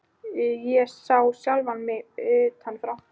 Ég sá sjálfa mig utan frá.